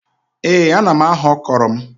Ee ana m aghọ ọkrọ m